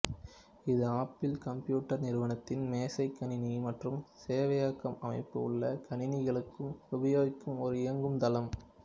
இது Apple computer நிறுவனத்தின் மேசை கணினி மற்றும் சேவையகம் அமைப்பு உள்ள கணினிகளுக்கு உபயோகிக்கும் ஒரு இயங்கு தளம்